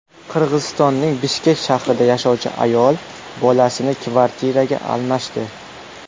Qirg‘izistonning Bishkek shahrida yashovchi ayol bolasini kvartiraga almashdi.